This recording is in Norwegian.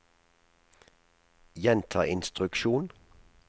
gjenta instruksjon